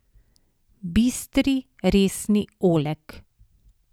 Bistri, resni Oleg.